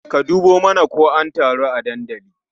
Ka dubo mana ko an taru a dandali.